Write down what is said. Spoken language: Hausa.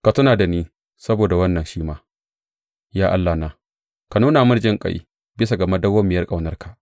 Ka tuna da ni saboda wannan shi ma, ya Allahna, ka nuna mini jinƙai bisa ga madawwamiyar ƙaunarka.